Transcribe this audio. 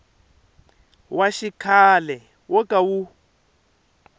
wa xikhale wo ka wu